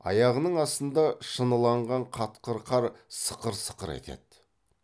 аяғының астында шыныланған қатқыл қар сықыр сықыр етеді